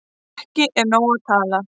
Það er ekki nóg að tala